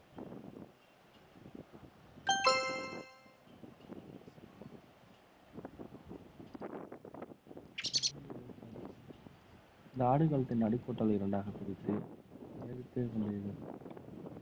இந்த ஆடுகளத்தின் அடி கூட்டலை இரண்டாக பிரித்து கொண்டிருந்தோம்